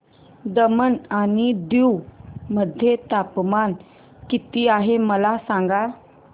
दमण आणि दीव मध्ये तापमान किती आहे मला सांगा